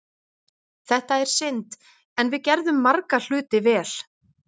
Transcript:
Þetta er synd, en við gerðum marga hluti vel.